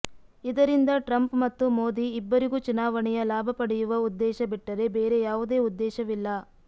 ಇದರಿಂದ ಟ್ರಂಪ್ ಮತ್ತು ಮೋದಿ ಇಬ್ಬರಿಗೂ ಚುನಾವಣೆಯ ಲಾಭ ಪಡೆಯುವ ಉದ್ದೇಶ ಬಿಟ್ಟರೆ ಬೇರೆ ಯಾವುದೇ ಉದ್ದೇಶವಿಲ್ಲ